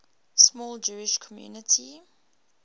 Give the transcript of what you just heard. small jewish community